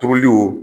Tobiliw